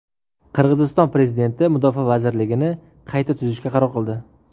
Qirg‘iziston prezidenti Mudofaa vazirligini qayta tuzishga qaror qildi.